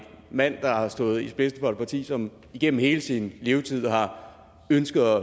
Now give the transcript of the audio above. mand der har stået spidsen for et parti som igennem hele sin levetid har ønsket